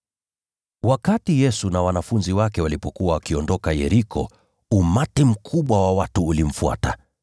Yesu na wanafunzi wake walipokuwa wakiondoka Yeriko, umati mkubwa wa watu ulimfuata.